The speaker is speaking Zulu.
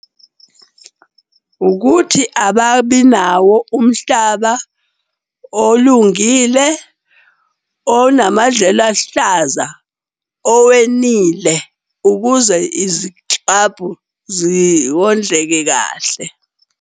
Ukuthi ababi nawo umhlaba olungile, onamadlelo aluhlaza, owenile ukuze iziklabhu ziwondleke kahle.